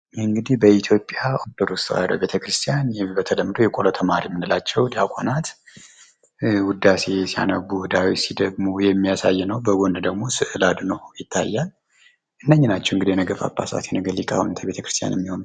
እንግዲህ በኢትዮጵያ ኦርቶዶክስ ተዋሕዶ ቤተክርስቲያን በተለምዶ የቆሎ ተማሪ የምንላቸው ዲያቆናት ውዳሴ ሲያነቡ፣ ዳዊት ሲደግሙ የሚያሳይ ነው። በጎን ደግሞ ስዕል አድኅኖ ይታያል። እነዚህ ናቸው እንግዲህ የነገ ጳጳሳት፤ የነገ ሊቃውንተ ቤተክርስቲያን የሚሆኑት።